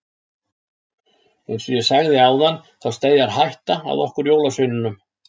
Eins og ég sagði áðan þá steðjar hætta að okkur jólasveinunum.